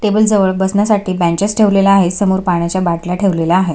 Table जवळ बसण्यासाठी benches ठेवण्यात आलेले आहेत समोर पाण्याच्या बाटल्या ठेवण्यात आलेल्या आहे.